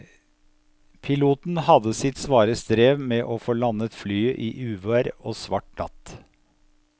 Piloten hadde sitt svare strev med å få landet flyet i uvær og svart natt.